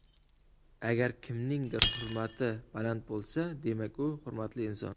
Agar kimningdir hurmati baland bo‘lsa, demak u hurmatli inson.